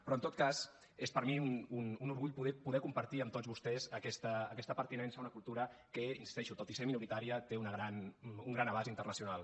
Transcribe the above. però en tot cas és per mi un orgull poder compartir amb tots vostès aquesta pertinença a una cultura que hi insisteixo tot i ser minoritària té un gran abast internacional